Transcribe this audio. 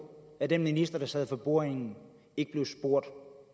at den minister der sad for bordenden ikke blev spurgt